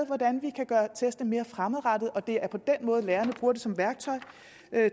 hvordan vi kan gøre testene mere fremadrettede så det er på den måde lærerne bruger dem som værktøj